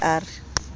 be a se a re